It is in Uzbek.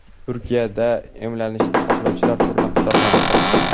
Turkiyada emlanishni xohlovchilar turnaqator navbat hosil qildi.